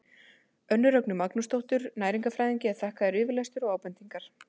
Önnu Rögnu Magnúsardóttur næringarfræðingi er þakkaður yfirlestur og ábendingar.